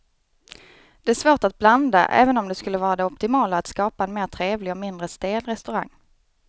Det är svårt att blanda även om det skulle vara det optimala att skapa en mer trevlig och mindre stel restaurang.